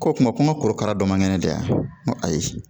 Ko kuma ko kuma korokara dɔ man kɛnɛ da ko ayi